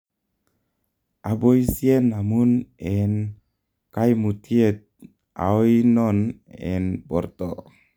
aboisyen amun en kaimutyet aoinon en borto?